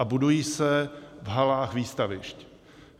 A budují se v halách výstavišť.